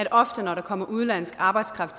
at ofte når der kommer udenlandsk arbejdskraft